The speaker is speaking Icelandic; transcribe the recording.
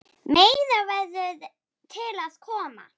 Meira verður til að koma.